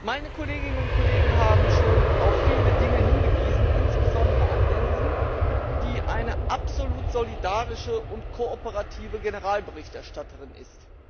Meine Kolleginnen und Kollegen haben schon auf viele Dinge hingewiesen, insbesondere Anne Jensen, die eine absolut solidarische und kooperative Generalberichterstatterin ist.